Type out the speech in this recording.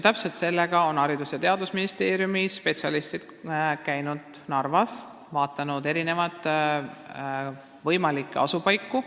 Täpselt sellega on Haridus- ja Teadusministeeriumi spetsialistid käinudki Narvas tegelemas, sealhulgas on nad vaadanud kooli võimalikke asupaiku.